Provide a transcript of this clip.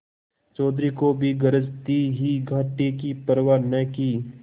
चौधरी को भी गरज थी ही घाटे की परवा न की